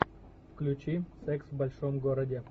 включи секс в большом городе